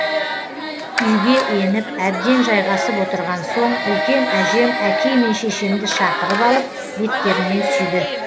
үйге еніп әбден жайғасып отырған соң үлкен әжем әкей мен шешемді шақырып алып беттерінен сүйді